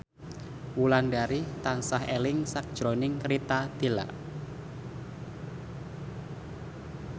Wulandari tansah eling sakjroning Rita Tila